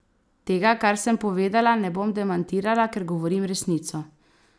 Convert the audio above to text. Tega, kar sem povedala, ne bom demantirala, ker govorim resnico!